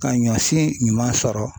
Ka ɲɔsi ɲuman sɔrɔ